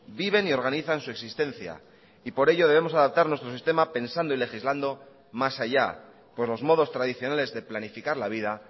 viven y organizan su existencia y por ello debemos adaptar nuestro sistema pensando y legislando más allá por los modos tradicionales de planificar la vida